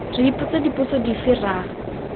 re ipotsa dipotso dife ra